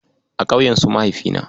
A ƙauyen su Mahaifina.